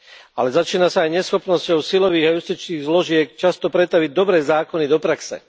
Ale začína sa aj neschopnosťou silových a justičných zložiek často pretaviť dobré zákony do praxe.